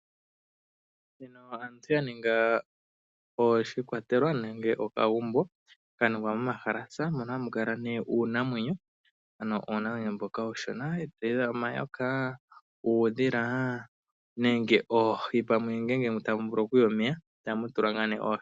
Aantu yaninga oshikwatelwa nenge okagumbo kaningwa momahalasa moka hamu kala nee uunamwenyo, uunamwenyo mboka uushona ngaashi omayoka, uudhila nenge pamwe oohi ngele tamu vulu kuya omeya, ohamu tula ngaa nee oohi.